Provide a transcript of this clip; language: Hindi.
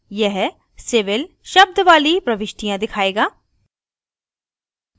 यह civil शब्द वाली प्रविष्टियाँ दिखायेगा